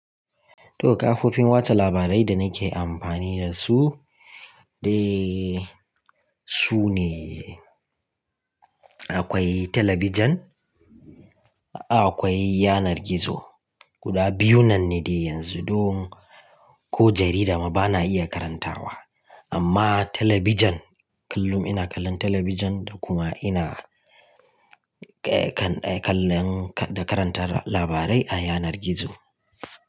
To kafofin watsa labarai da nake amfani da su, dai su ne akwai talabijin, akwai yanar gizo. Guda biyu nan ne dai yanzu don ko jarida ma bana iya karantawa. Amma talabijin kullum ina kallon talabijin da kuma ina kan kallon da karantar labarai a yanar gizo.